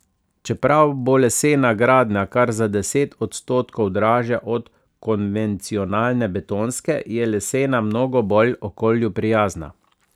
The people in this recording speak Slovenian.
Čeprav bo lesena gradnja kar za deset odstotkov dražja od konvencionalne betonske, je lesena mnogo bolj okolju prijazna.